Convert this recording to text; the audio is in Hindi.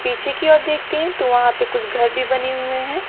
पीछे की ओर देखते हैं तो वहां पे कुछ घर भी बने हुए हैं।